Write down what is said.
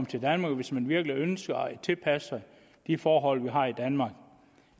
til danmark hvis man virkelig ønsker at tilpasse sig de forhold vi har i danmark